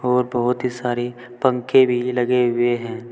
और बहुत ही सारे पंखे भी लगे हुए हैं।